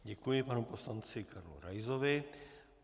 Děkuji panu poslanci Karlu Raisovi.